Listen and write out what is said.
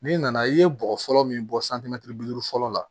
N'i nana i ye bɔgɔ fɔlɔ min bɔ bi duuru fɔlɔ la